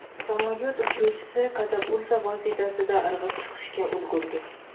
Samolyot uchuvchisi katapulta vositasida irg‘ib chiqishga ulgurdi.